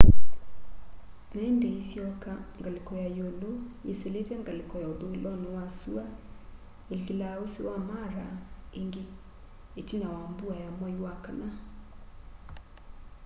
na indi iisyoka ngaliko ya iulu yisilite ngaliko ya uthuiloni wa sua iikila usi wa mara ingi itina wa mbua ya mwai wa kana